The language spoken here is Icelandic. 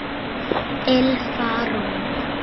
Ylfa Rún.